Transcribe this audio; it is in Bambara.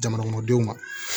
Jamanakɔnɔdenw ma